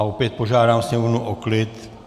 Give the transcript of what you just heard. A opět požádám sněmovnu o klid.